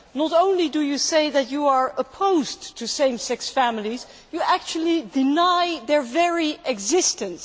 Not only do you say that you are opposed to same sex families, but you actually deny their very existence.